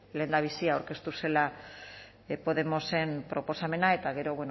lehendabizi aurkeztu zela podemosen proposamena eta gero